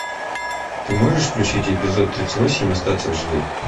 ты можешь включить эпизод тридцать восемь остаться в живых